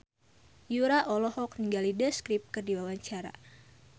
Yura olohok ningali The Script keur diwawancara